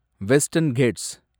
western Gates